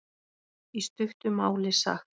Í stuttu máli sagt.